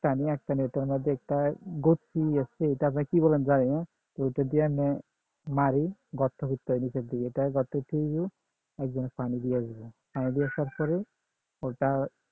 আমি একটা নেটের মধ্যে একটা এটা আপনি কি বলেন জানি না ওটা দিয়ে এমনি মারি গর্ত খুচে হয় নিচের দিকে ওটা